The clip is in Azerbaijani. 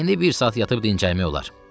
"İndi bir saat yatıb dincəlmək olar."